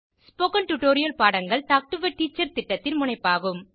spoken tutorial பாடங்கள் talk to a teacher திட்டத்தின் முனைப்பாகும்